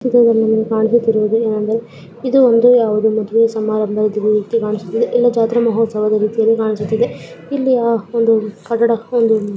ಚಿತ್ರದಲ್ಲಿ ಕಾಣಿಸುತ್ತಿರುವುದು ಏನಂದರೆ ಇದು ಒಂದು ಯಾವುದೋ ಮದುವೆ ಸಮಾರಂಭದ ರೀತಿ ಕಾಣಿಸುತ್ತಿದೆ ಇಲ್ಲ ಜಾತ್ರಾ ಮಹೋತ್ಸವದ ರೀತಿಯಲ್ಲಿ ಕಾಣಿಸುತ್ತಿದೆ. ಇಲ್ಲಿಯ ಒಂದು ಕಟ್ಟಡ ಒಂದು--